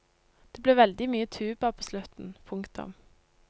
Det ble veldig mye tuba på slutten. punktum